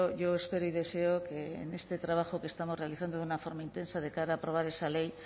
yo espero y deseo que en este trabajo que estamos realizando de una forma intensa de cara a aprobar esa ley